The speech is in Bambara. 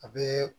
A bɛ